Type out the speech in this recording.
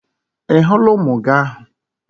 Ị hụla ụmụ agụ ahụ?